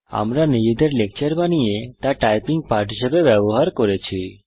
আমরা নিজেদের লেকচর বানিয়ে তা টাইপিং পাঠ হিসেবে ব্যবহার করেছি